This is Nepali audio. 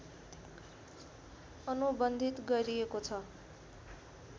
अनुबन्धित गरिएको छ